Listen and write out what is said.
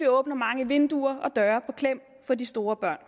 åbner mange vinduer og døre på klem for de store børn